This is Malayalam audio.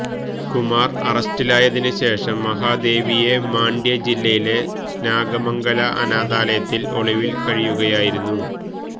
കുമാര് അറസ്റ്റിലായതിന് ശേഷം മഹാദേവിയെ മാണ്ഡ്യ ജില്ലയിലെ നാഗമംഗല ആനാഥാലയത്തില് ഒളിവില് കഴിയുകയായിരുന്നു